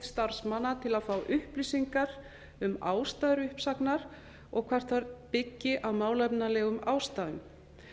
starfsmanna til að fá upplýsingar um ástæður uppsagnar og hvort þær byggi á málefnalegum ástæðum